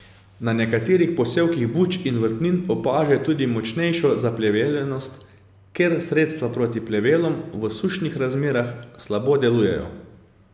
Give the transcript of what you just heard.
Na nekaterih posevkih buč in vrtnin opažajo tudi močnejšo zapleveljenost, ker sredstva proti plevelom v sušnih razmerah slabo delujejo.